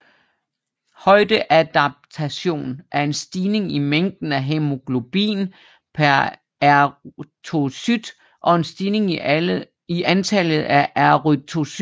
Højdeadaptation er en stigning i mængden af hæmoglobin per erythrocyt og en stigning i antallet af erythrocytter